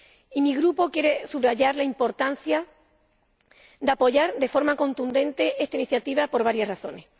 Y mi Grupo quiere subrayar la importancia de apoyar de forma contundente esta iniciativa, por varias razones.